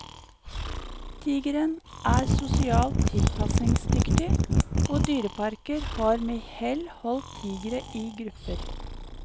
Tigeren er sosialt tilpasningsdyktig, og dyreparker har med hell holdt tigrer i grupper.